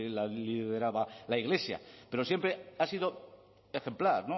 la lideraba la iglesia pero siempre ha sido ejemplar